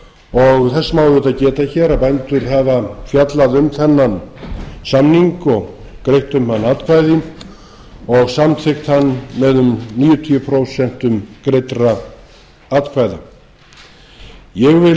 og þess má auðvitað geta hér að bændur hafa fjallað um þennan samning og greitt um hann atkvæði og samþykkt hann með um níutíu prósent greiddra atkvæða ég vil